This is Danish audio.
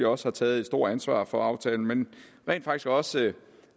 også har taget et stort ansvar for aftalen men rent faktisk også takke